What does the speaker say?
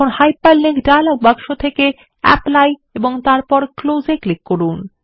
এখন hyperlink dialog বাক্স থেকে অ্যাপলি ক্লিক করুন এবং তারপর ক্লোজ এ ক্লিক করুন